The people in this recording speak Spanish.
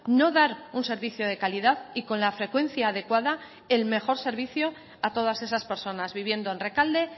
no dar un servicio de calidad y con la frecuencia adecuada el mejor servicio a todas esas personas viviendo en rekalde